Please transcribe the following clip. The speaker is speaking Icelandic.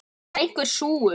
Það er einhver súgur.